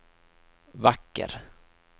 vacker